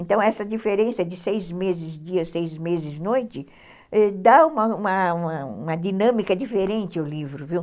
Então essa diferença de seis meses dia, seis meses noite, dá uma uma uma dinâmica diferente ao livro, viu.